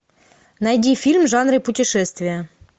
найди фильм в жанре путешествия